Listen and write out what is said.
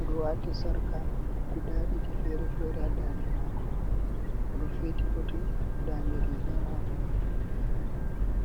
oɗo wati sarka guda ɗiɗi fere-fere ha da'nde mako oɗo feti botin da'nde riga mako.